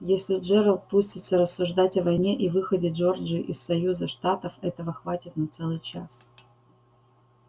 если джералд пустится рассуждать о войне и выходе джорджии из союза штатов этого хватит на целый час